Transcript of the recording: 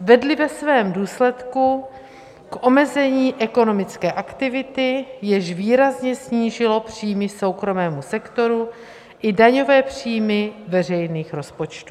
vedly ve svém důsledku k omezení ekonomické aktivity, jež výrazně snížilo příjmy soukromému sektoru i daňové příjmy veřejných rozpočtů.